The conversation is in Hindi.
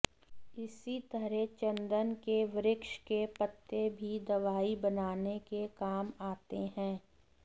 इसी तरह चंदन के वृक्ष के पत्ते भी दवाई बनाने के काम आते हैं